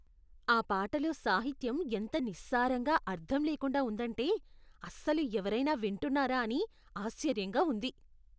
ఆ పాటలో సాహిత్యం ఎంత నిస్సారంగా అర్థంలేకుండా ఉందంటే, అస్సలు ఎవరైనా వింటున్నారా అని ఆశ్చర్యంగా ఉంది.